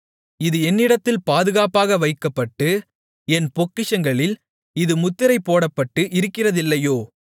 இது என்னிடத்தில் பாதுகாப்பாக வைக்கப்பட்டு என் பொக்கிஷங்களில் இது முத்திரை போடப்பட்டு இருக்கிறதில்லையோ